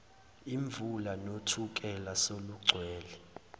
imvula nothukela selugcwele